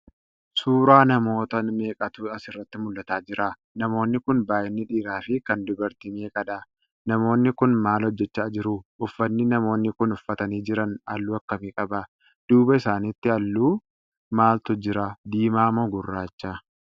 Suuraa Namoota meeqaatu asirratti mul'ataa Jira?. Namoonni Kuni baay'inni dhiiraafi Kan dubartii meqadha?. namoonni Kuni maal hojjachaa jiru?.uffanni namoonni Kuni uffatanii Jiran halluu akkamii qaba?.duuba isaaniitti halluu maalitu jira, diimaa moo gurraacha?.